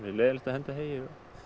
leiðinlegt að henda heyi